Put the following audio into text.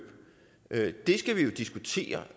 skal vi jo diskutere